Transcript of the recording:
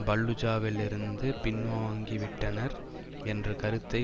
பல்லுஜாவிலிருந்து பின்வாங்கிவிட்டனர் என்ற கருத்தை